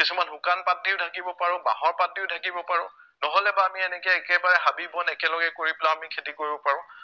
কিছুমান শুকান পাত দিও ঢাকিব পাৰো, বাঁহৰ পাত দিও ঢাকিব পাৰো নহলেবা আমি এনেকে একেবাৰে হাবি বন একেলগে কৰি পেলাইও আমি খেতি কৰিব পাৰো